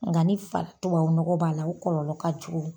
Nka ni fa tubabu nɔgɔ b'a la, o kɔlɔlɔ ka jugu